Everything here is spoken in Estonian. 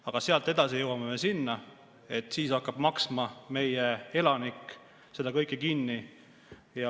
Aga sealt edasi jõuame me sinna, et siis hakkab meie elanik seda kõike kinni maksma.